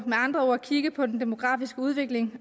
andre ord kigge på den demografiske udvikling